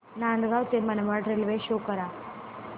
नांदगाव ते Manmad railway show करा